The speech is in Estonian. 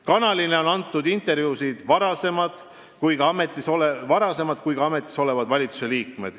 Kanalile on andnud intervjuusid nii varasemad kui ka ametis olevad valitsusliikmed.